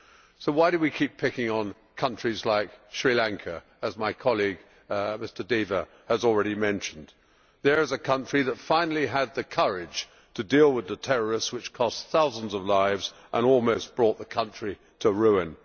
So why do we keep picking on countries like Sri Lanka, as my colleague, Mr Deva, has already mentioned? There is a country that finally had the courage to deal with the terrorists which cost thousands of lives and almost brought the country to ruin.